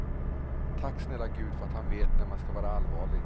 Tack snälla gud för att han vet när man ska vara allvarlig.